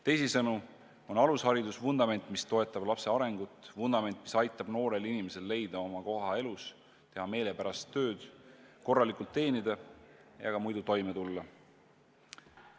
Teisisõnu on alusharidus vundament, mis toetab lapse arengut – vundament, mis aitab noorel inimesel leida oma koht elus, teha meelepärast tööd, korralikult teenida ja ka muidu toime tulla.